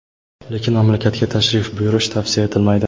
lekin mamlakatga tashrif buyurish tavsiya etilmaydi.